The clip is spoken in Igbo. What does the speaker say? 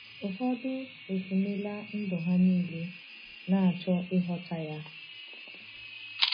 Ụfọdụ efunela ndụ ha niile na-achọ ịchọta ya.